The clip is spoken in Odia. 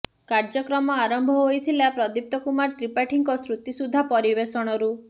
କାର୍ଯ୍ୟକ୍ରମ ଆରମ୍ଭ ହୋଇଥିଲା ପ୍ରଦୀପ୍ତ କୁମାର ତ୍ରିପାଠୀଙ୍କ ଶ୍ରୁତିସୁଧା ପରିବେଷଣରୁ